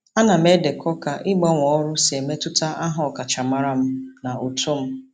Ana m edekọ ka ịgbanwe ọrụ si emetụta aha ọkachamara m na uto m.